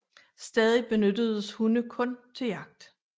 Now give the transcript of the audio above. Stadig benyttedes hunde kun til jagt